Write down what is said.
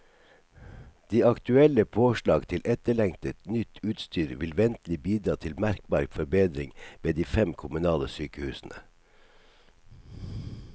De aktuelle påslag til etterlengtet, nytt utstyr vil ventelig bidra til merkbar forbedring ved de fem kommunale sykehusene.